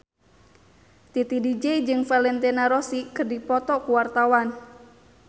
Titi DJ jeung Valentino Rossi keur dipoto ku wartawan